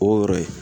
O yɔrɔ ye